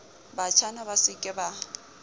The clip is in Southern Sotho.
batjhana ba se ke ba